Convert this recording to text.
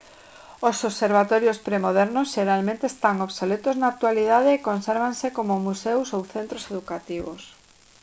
os observatorios premodernos xeralmente están obsoletos na actualidade e consérvanse como museos ou centros educativos